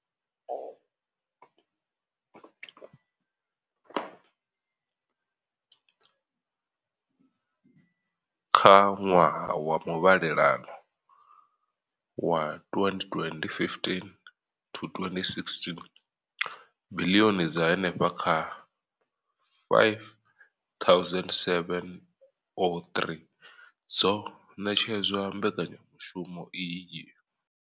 Kha ṅwaha wa muvhalelano wa 2015 to 2016, biḽioni dza henefha kha R5 703 dzo ṋetshedzwa mbekanyamushumo iyi.